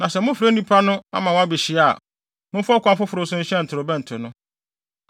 Na sɛ mofrɛ nnipa no ama wɔabehyia a, momfa ɔkwan foforo so nhyɛn ntorobɛnto no.